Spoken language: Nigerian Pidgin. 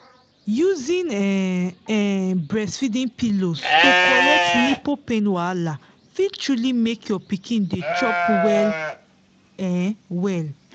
using um um breastfeeding pillows to correct nipple pain wahala fit truly make your pikin dey chop well um well